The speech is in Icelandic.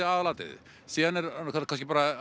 aðal atriðið síðan er það kannski bara